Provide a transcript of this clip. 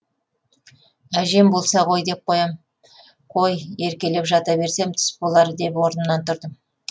әжем болса ғой деп қоямын қой еркелеп жата берсем түс болар деп орнымнан тұрдым